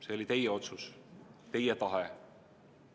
See oli teie otsus, teie tahe.